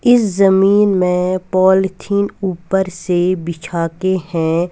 इस ज़मीन में पॉलीथिन ऊपर से बिछा के है।